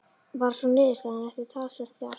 Varð sú niðurstaðan eftir talsvert þjark.